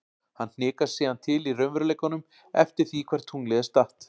Hann hnikast síðan til í raunveruleikanum eftir því hvar tunglið er statt.